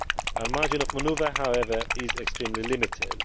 Our margin of manoeuvre, however, is extremely limited.